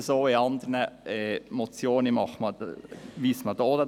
Bei anderen Motionen weist man auch noch darauf hin.